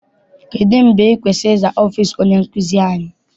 Kedụ mgbe ị kwesịrị ịza ọfịịsi onye nkụzi anyị?